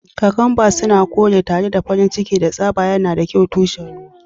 Kakamba suna kore tare da farin ciki da tsaba, yana da kyau tushen ruwa.